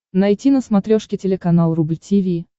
найти на смотрешке телеканал рубль ти ви